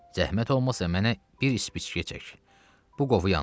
Zəhmət olmasa mənə bir ispiçkə çək, bu qofu yandırım.